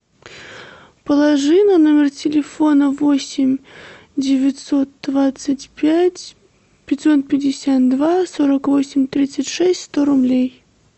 положи на номер телефона восемь девятьсот двадцать пять пятьсот пятьдесят два сорок восемь тридцать шесть сто рублей